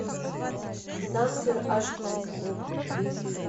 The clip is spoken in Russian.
дансер аш ди